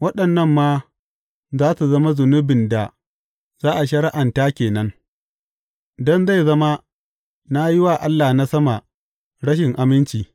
Waɗannan ma za su zama zunubin da za a shari’anta ke nan don zai zama na yi wa Allah na sama rashin aminci.